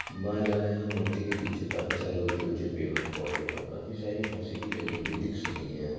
माला यहा मूर्ति के पीछे काफी सारे ऊंचे ऊंचे पेड़ पौधे और काफी सारी घासे भी लगी हुई दिख सकती हैं।